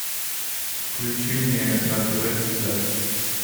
включи мне на тв звезда